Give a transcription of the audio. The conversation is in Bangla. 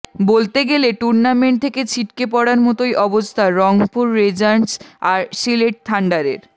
বলতে গেলে টুর্নামেন্ট থেকে ছিটকে পড়ার মতোই অবস্থা রংপুর রেঞ্জার্স আর সিলেট থান্ডারের